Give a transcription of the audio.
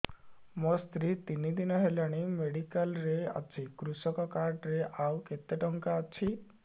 ମୋ ସ୍ତ୍ରୀ ତିନି ଦିନ ହେଲାଣି ମେଡିକାଲ ରେ ଅଛି କୃଷକ କାର୍ଡ ରେ ଆଉ କେତେ ଟଙ୍କା ଅଛି